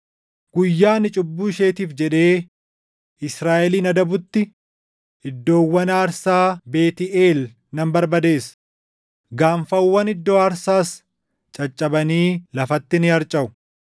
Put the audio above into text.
“Guyyaa ani cubbuu isheetiif jedhee Israaʼelin adabutti, iddoowwan aarsaa Beetʼeel nan barbadeessa; gaanfawwan iddoo aarsaas caccabanii lafatti ni harcaʼu.